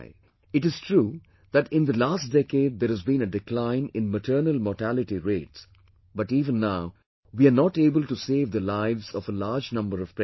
It is true that in the last decade there has been a decline in maternal mortality rates but even now, we are not able to save the lives of a large number of pregnant women